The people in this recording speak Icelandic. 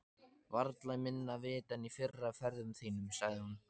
Varla minna vit en í fyrri ferðum þínum, sagði hún.